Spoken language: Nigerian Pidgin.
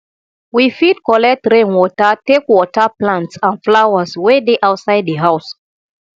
we fit collect rain water take water plants and flowers wey dey outside di house